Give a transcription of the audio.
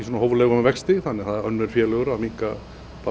hóflegum vexti þannig að önnur félög eru bara að minnka